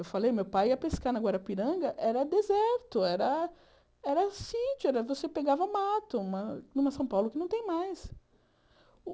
Eu falei, meu pai ia pescar na Guarapiranga, era deserto, era era sítio, você pegava mato numa São Paulo que não tem mais.